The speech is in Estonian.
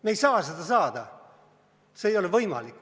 Me ei saa seda saada, see ei ole võimalik.